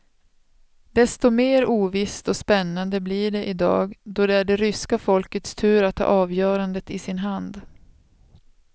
Desto mer ovisst och spännande blir det i dag då det är det ryska folkets tur att ha avgörandet i sin hand.